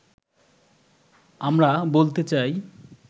আমরা বলতে চাই